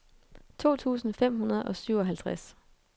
to tusind fem hundrede og syvoghalvtreds